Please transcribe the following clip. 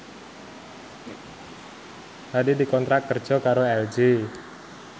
Hadi dikontrak kerja karo LG